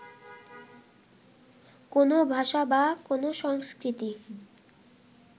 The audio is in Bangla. কোনও ভাষা বা কোনও সংস্কৃতি